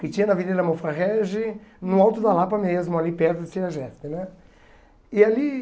que tinha na Avenida da Mofra Regi, no alto da Lapa mesmo, ali perto de CEAGESP né? E ali